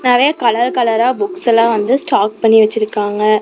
நெறையா கலர் கலரா புக்ஸ் எல்லா வந்து ஸ்டாக் பண்ணி வெச்சிருக்காங்க.